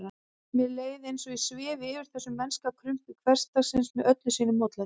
Mér leið eins og ég svifi yfir þessu mennska krumpi hversdagsins með öllu sínu mótlæti.